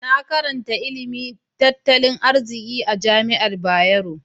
Na karanta ilimin tattalin arziki a jami'ar Bayero.